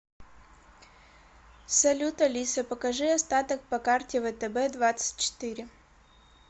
салют алиса покажи остаток по карте втб двадцать четыре